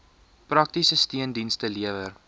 praktiese steundienste lewer